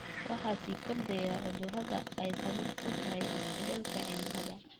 Waxaa sii kordhaya cudurrada ay sabab u tahay isbedelka cimilada.